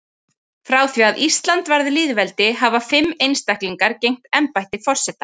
Frá því að Ísland varð lýðveldi hafa fimm einstaklingar gegnt embætti forseta.